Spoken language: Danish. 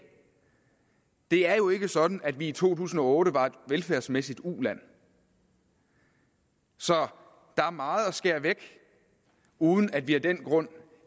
det er jo ikke sådan at vi i to tusind og otte var et velfærdsmæssigt uland så der er meget at skære væk uden at vi af den grund